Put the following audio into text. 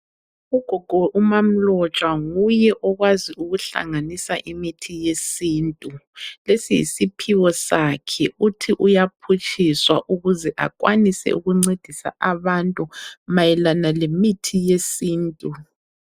Ugogo umaMlotshwa nguye okwazi ukuhlanganisa imithi yesintu. Lesi yisiphiwo sakhe uthi uyaphutshiswa ukuze akwanise ukuncedisa abantu mayelana lemithi yesintu.